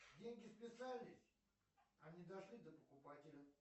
деньги списались а не дошли до покупателя